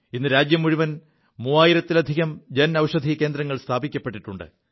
ഇ് രാജ്യം മുഴുവൻ മൂവായിരത്തിലധികം ജൻഔഷധി കേന്ദ്രങ്ങൾ സ്ഥാപിക്കപ്പെിുണ്ട്